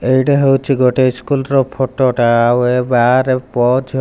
ଏଇଟା ହେଉଛି ଗୋଟେ ଇସ୍କୁଲ ର ଫଟ ଟା ଆଉ ଏ ବାହାରେ ପୁଅ ଝି --